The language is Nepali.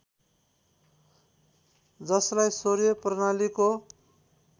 जसलाई सौर्य प्रणालीको